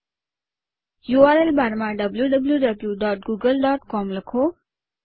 URL bar માં wwwgooglecom લખો